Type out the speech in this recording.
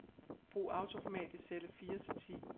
Brug autoformat i celle fire til ti.